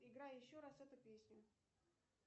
играй еще раз эту песню